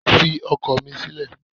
Fi ọkọ̀ mi sílẹ̀